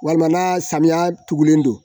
Walima samiya tugulen don